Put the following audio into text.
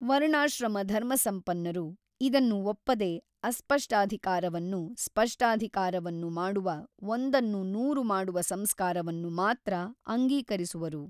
ವರ್ಣಾಶ್ರಮಧರ್ಮಸಂಪನ್ನರು ಇದನ್ನು ಒಪ್ಪದೆ ಅಸ್ಪಷ್ಟಾಧಿಕಾರವನ್ನು ಸ್ಪಷ್ಟಾಧಿಕಾರವನ್ನು ಮಾಡುವ ಒಂದನ್ನು ನೂರುಮಾಡುವ ಸಂಸ್ಕಾರವನ್ನು ಮಾತ್ರ ಅಂಗೀಕರಿಸುವರು.